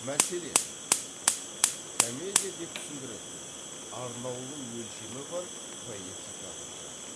мәселен комедия деп түсіндіреді ол арнаулы өлшемі бар поэтикалық жанр